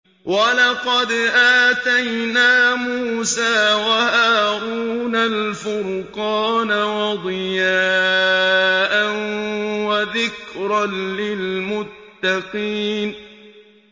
وَلَقَدْ آتَيْنَا مُوسَىٰ وَهَارُونَ الْفُرْقَانَ وَضِيَاءً وَذِكْرًا لِّلْمُتَّقِينَ